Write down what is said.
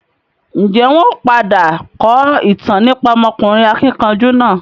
Ń jẹ́ wọn ó padà kọ ìtàn nípa ọmọkùnrin akíkanjú náà?